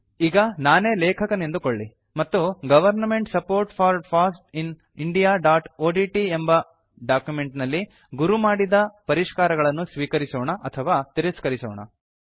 ಈಗ ನಾನೇ ಲೇಕಖನೆಂದುಕೊಳ್ಳಿ ಮತ್ತು government support for foss in indiaಒಡಿಟಿ ಎಂಬ ಡಾಕ್ಯುಮೆಂಟ್ ನಲ್ಲಿ ಗುರು ಮಾಡಿದ ಪರಿಷ್ಕಾರಗಳನ್ನು ಸ್ವೀಕರಿಸೋಣ ಅಥವಾ ತಿರಸ್ಕರಿಸೋಣ